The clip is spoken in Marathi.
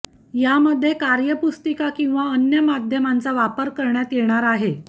यामध्ये कार्यपुस्तिका किंवा अन्य माध्यमांचा वापर करण्यात येणार आहे